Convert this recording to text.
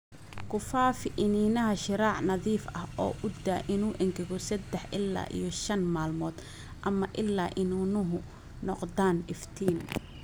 Ku faafi iniinaha shiraac nadiif ah oo u daa inuu engego sadah ila iyo shan maalmood ama ilaa iniinuhu noqdaan iftiin.